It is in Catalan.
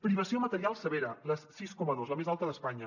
privació material severa sis coma dos la més alta d’espanya